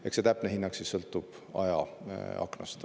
Eks see täpne hinnang sõltub ajaaknast.